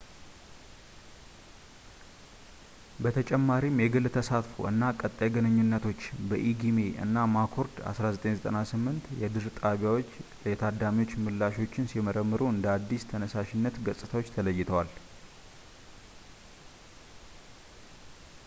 በተጨማሪም የግል ተሳትፎ” እና ቀጣይ ግንኙነቶች” በኢጊሜ እና ማኮርድ 1998 የድርጣቢያዎች የታዳሚዎች ምላሾችን ሲመረምሩ እንደ አዲስ ተነሳሽነት ገጽታዎች ተለይተዋል